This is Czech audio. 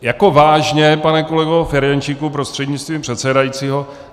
Jako vážně, pane kolego Ferjenčíku prostřednictvím předsedajícího?